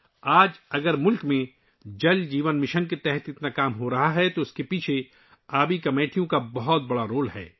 آج اگر ملک میں 'جل جیون مشن' کے تحت اتنا کام ہو رہا ہے تو اس کے پیچھے واٹر کمیٹیوں کا بڑا رول ہے